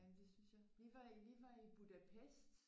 Jamen det synes jeg vi var i vi var i Budapest